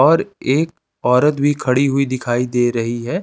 और एक औरत भी खड़ी हुई दिखाई दे रही है।